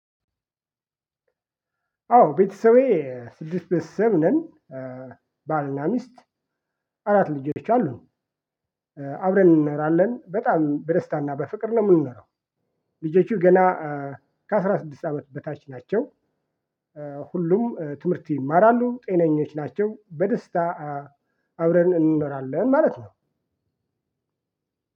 አዎ ቤተሰቤ ትልቅ ቤተሰብ ነን ባልና ሚስት አራት ልጆች አሉን። አብረን እንኖራለን በጣም በደስታና በፍቅር ነው የምንኖረው ልጆቹ ገና ከአስራ ስድስት አመት በታች ናቸው ሁሉም ትምህርት ይማራሉ ጤነኞች ናቸው በደስታ አብረን እንኖራለን ማለት ነው።